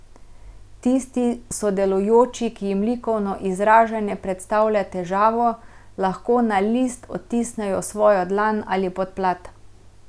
Tisti sodelujoči, ki jim likovno izražanje predstavlja težavo, lahko na list odtisnejo svojo dlan ali podplat.